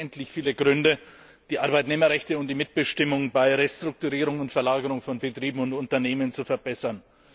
Es gibt unendlich viele Gründe, die Arbeitnehmerrechte und die Mitbestimmung bei Restrukturierungen und Verlagerungen von Betrieben und Unternehmen zu verbessern.